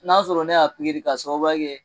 N'a sɔrɔ ne y'a ka sababuya kɛ.